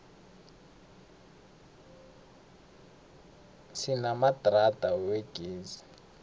sinamadrada wegezi